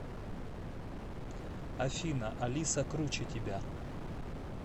афина алиса круче тебя